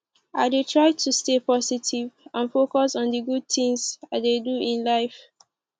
i dey try to stay positive and focus on di good things i dey do in life